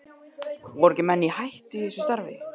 Voru ekki menn í hættu í þessu starfi?